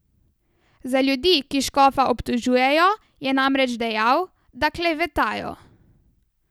Za ljudi, ki škofa obtožujejo, je namreč dejal, da klevetajo.